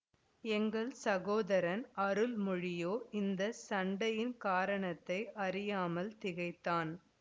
எங்கள் சகோதரன் அருள்மொழியோ இந்த சண்டையின் காரணத்தை அறியாமல் திகைத்தான்